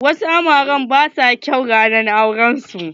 Wasu amaren ba sua kyau ranar auren su.